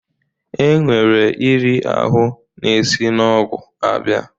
E nwere iri ahụ na-esi n'ọgwụ abịa.